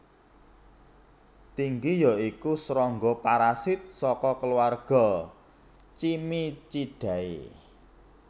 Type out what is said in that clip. Tinggi ya iku srangga parasit saka keluarga Cimicidae